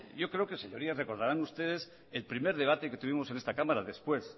yo creo señorías que recordarán ustedes el primer debate que tuvimos en esta cámara después